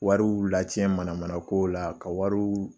Wariw lacɛn mana mana kow la ka wariw